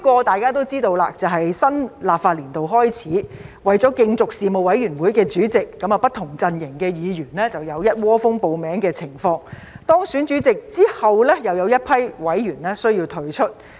大家也知道，其中一個是當新立法年度開始時，為了競逐事務委員會的主席，不同陣營的議員有一窩蜂報名的情況，而當選了主席後，又有一批委員需要退出。